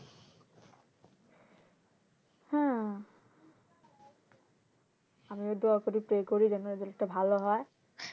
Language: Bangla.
হ্যাঁ আমি ওই দোয়া করি pray করি যেন result ভালো হয়